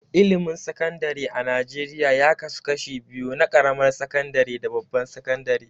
Ilimin Sakandare a Najeriya ya kasu kashi biyu na ƙaramar sakandare da babbar sakandare.